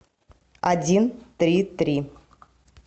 один три три